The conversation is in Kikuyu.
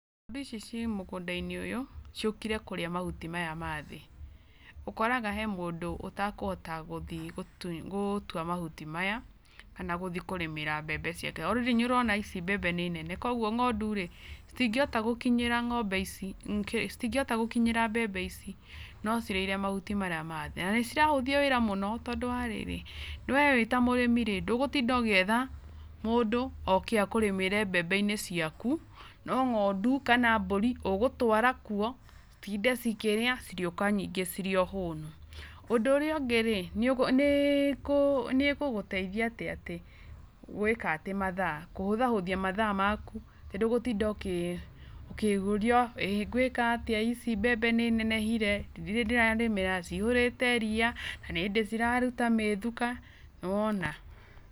Indo ici ciĩ mũganda-inĩ ũyũ ciũkire kũrĩa mahuti maya ma thĩ, ũkoraga harĩ mũndũ ũtakũhota gũthiĩ gũtũa mahuti maya kana gũthiĩ kũrĩmĩra mbembe ciake ,o rarĩndĩ nĩ ũrona mbembe ici nĩ nene kogũo ng'ondu rĩ citingĩhota gũkinyĩra mbembe ici no cirĩire mahuti marĩa ma thĩ na nĩ cirahũthia wĩra mũno tandũ wa rĩrĩ we wĩ ta mũrĩmi ndũgutinda ũgĩetha mũndũ oke akũrĩmĩre mbembe-inĩ ciaku no ngo'ndu kana mbũri ũgũtwara kũo citinde ikĩrĩa cirĩoka ningĩ cirio hũnu, ũndũ ũrĩa ũngĩ rĩ nĩĩgũgũteithia gwĩka atĩ mathaa, kũhũthahũthia mathaa maku tondũ ndũgũtinda ũkĩũrio ĩgũĩka atĩa ici mbembe nĩ inenehire? Ndirĩ ndĩrarĩmĩra, cihũrĩte ria, nĩ hĩndĩ ciraruta mĩthuka ,nĩwona.